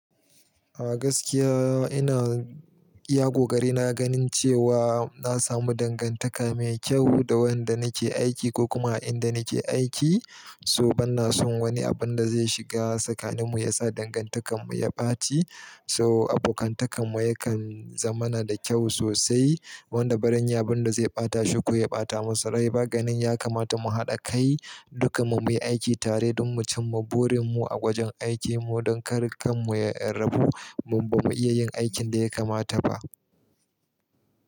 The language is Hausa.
A gaskiya ina, iya kokari na ganin cewa na samu dangantaka mai kyau da wanda nake aiki ko kuma a inda nake aiki. So ban na son wani abun da zai shiga tsakaninmu ya sa dangantakanmu ya ɓaci. So abokantakanmu yakan zama na da kyau sosai. Wanda barin yi, abun da zai ɓata shi ko ya ɓata masu rai ba ganin ya kamata mu haɗa kai dukan mu muyi aiki tare don mu cimma burin mu a gwajin aikin mu. Don kar kan mu ya rabu, mun ba mu iya yin aikin da ya kamata ba.